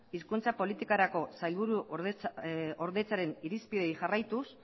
hizkuntza politikarako sailburuordetzaren irizpideei jarraituz